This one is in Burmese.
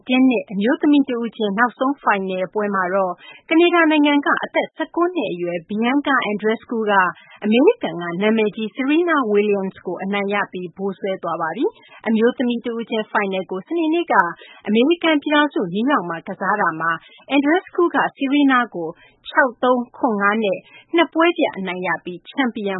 တင်းနစ် အမျိုးသမီး တဦးချင်း နောက်ဆုံးဖိုင်နယ်မှာတော့ ကနေဒါနိုင်ငံက အသက် ၁၉ နှစ်အရွယ် Bianca Andreescu က အမေရိကန်က နာမည်ကြီး Serena Williams ကို အနိုင်ရပြီး ဗိုလ်စွဲသွားပါတယ်။ အမျိုးသမီးတဦးချင်း ဖိုင်နယ်ကို စနေနေ့က အမေရိကန်ပြည်ထောင်စု နယူးယောက်မြို့မှာ ကစားကြတာမှာ Andreescu က Serena ကို ၆-၃၊ ၇-၅ နဲ့ ၂ ပွဲပြတ် အနိုင်ရပြီး ချန်ပီယံ